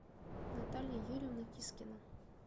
наталья юрьевна кискина